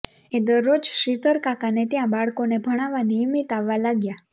એ દરરોજ શ્રીધરકાકાને ત્યાં બાળકોને ભણાવવા નિયમિત આવવા લાગ્યા